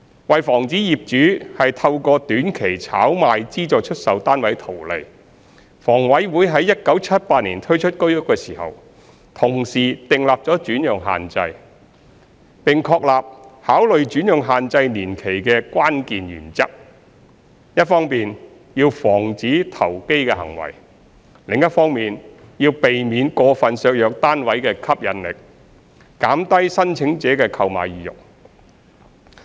為防止業主透過短期炒賣資助出售單位圖利，房委會在1978年推出居屋時，同時訂立轉讓限制，並確立考慮轉讓限制年期的關鍵原則：一方面要防止投機行為，另一方面要避免過分削弱單位的吸引力，減低申請者的購買意欲。